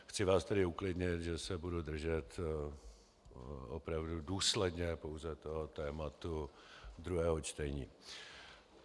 Chci vás tedy uklidnit, že se budu držet opravdu důsledně pouze toho tématu druhého čtení.